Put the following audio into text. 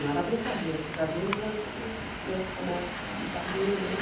Não era brincadeira, porque jardim da infância, a criança começa com brincadeira, né?